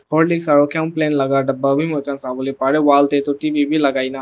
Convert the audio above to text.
horlicks aro laga daba wi muikhan sawole pare wall tey wi tu T_V wi lagai gena.